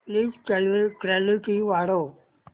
please clarity वाढव